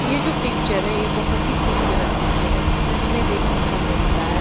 यह जो पिक्चर है यह बहुत ही खूबसूरत पिक्चर है जिसमें हमें देखने को मिल रहा है--